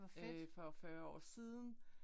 Øh for 40 år siden